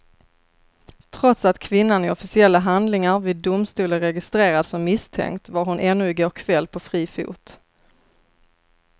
Trots att kvinnan i officiella handlingar vid domstol är registrerad som misstänkt var hon ännu i går kväll på fri fot.